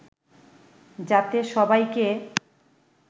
যাতে সবাইকে